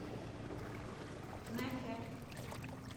нэхэ